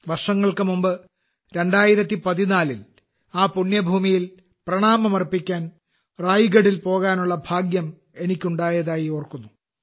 വർഷങ്ങൾക്കുമുമ്പ് 2014ൽ ആ പുണ്യഭൂമിയിൽ പ്രണാമം അർപ്പിക്കാൻ റായ്ഗഢിൽ പോകാനുള്ള ഭാഗ്യം എനിക്കുണ്ടായതായി ഓർക്കുന്നു